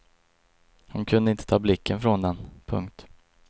Hon kunde inte ta blicken från den. punkt